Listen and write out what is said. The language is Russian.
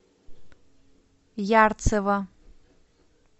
ярцево